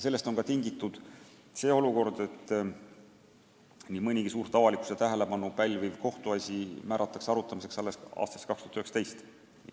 Sellest on ka tingitud olukord, et nii mõnigi suurt avalikkuse tähelepanu pälviv kohtuasi määratakse arutamiseks alles aastaks 2019.